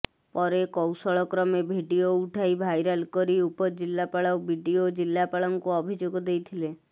ପରେ କୌଶଳ କ୍ରମେ ଭିଡିଓ ଉଠାଇ ଭାଇରାଲ କରି ଉପଜିଲ୍ଲାପାଳ ବିଡ଼ିଓ ଜିଲ୍ଲାପାଳଙ୍କୁ ଅଭିଯୋଗ ଦେଇଥିଲେ